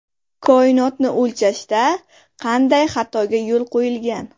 Koinotni o‘lchashda qanday xatoga yo‘l qo‘yilgan?